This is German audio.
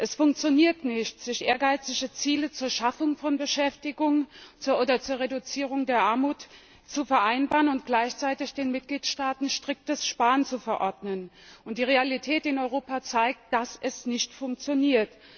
Es funktioniert nicht, ehrgeizige Ziele zur Schaffung von Beschäftigung oder zur Reduzierung der Armut zu vereinbaren und gleichzeitig den Mitgliedstaaten striktes Sparen zu verordnen. Die Realität in Europa zeigt, dass das nicht funktioniert.